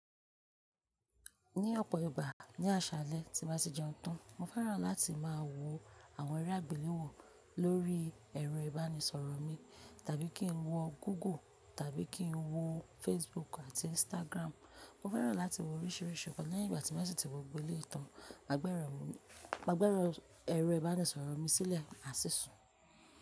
Ní ọ̀pọ̀ ìgbà ní àṣálẹ́ tí n bá tì jẹun tán, mo fẹ́ràn láti máa wo àwọn eré àgbéléwò lórí ẹ̀rọ ìbánisọ̀rọ̀ mi tàbí kí n wọ Google tàbí kí n wo Facebook àti Instagram. Mo fẹ́ràn láti wo oríṣìíríṣìí nkan lẹ́yìn ìgbà tí mó sì ti wo gbogbo eléyìí tàn. Màá gbe ẹ̀rọ ìbánisọ̀rọ̀ mi sílẹ̀, máa sì sùn.